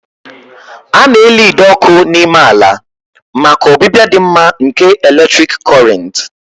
A na-eli ide ọkụ n'ime ala maka ọbịbịa dị mma nke eletrik Kọrịnt